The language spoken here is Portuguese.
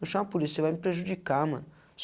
Não chama a polícia, vai me prejudicar, mano.